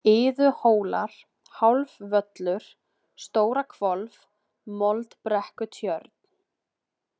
Iðuhólar, Hálfvöllur, Stórahvolf, Moldbrekkutjörn